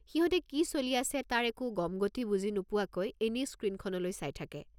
সিহঁতে কি চলি আছে তাৰ একো গমগতি বুজি নোপোৱাকৈ এনেই স্ক্ৰীণখনলৈ চাই থাকে।